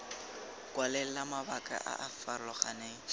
kwalela mabaka a a farologaneng